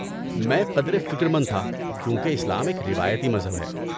میں قدرے فکرمند تھا کیونکہ اسلام ایک روایتی مذہب ہے۔